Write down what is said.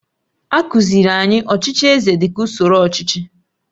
A kụziiri anyị ọchịchị eze dị ka usoro ọchịchị